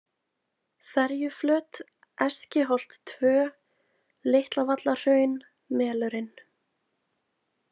Ferjuflöt, Eskiholt-II, Litlavallarhraun, Melurinn